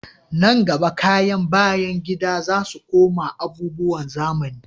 Nan gaba, kayan bayan gida za su koma abubuwan zamani